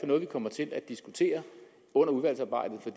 noget vi kommer til at diskutere under udvalgsarbejdet for